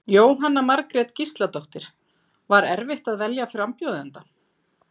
Jóhanna Margrét Gísladóttir: Var erfitt að velja frambjóðanda?